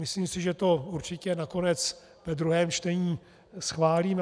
Myslím si, že to určitě nakonec ve druhém čtení schválíme.